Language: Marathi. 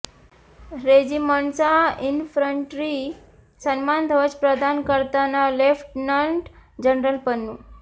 रेजिमेंटचा इन्फंट्री सन्मान ध्वज प्रदान करताना लेफ्टनंट जनरल पन्नु